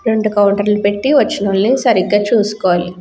రెండు కౌంటర్లు పెట్టి వచ్చినోల్లని సరిగ్గా చూసుకోవాలి.